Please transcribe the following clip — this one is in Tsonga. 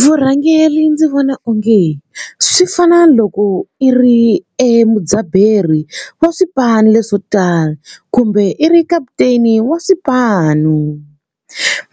Vurhangeri ndzi vona onge swi fana loko i ri e mudzaberi wa swipanu leswo tala kumbe i ri kaputeni wa swipanu.